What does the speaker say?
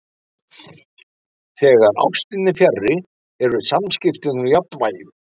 Þegar ástin er fjarri eru samskiptin úr jafnvægi.